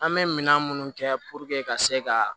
An bɛ minɛn minnu kɛ ka se ka